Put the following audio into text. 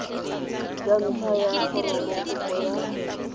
ya ntlha ya foromokopo ya